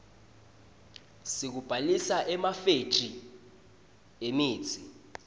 sekubhalisa emafethri emitsi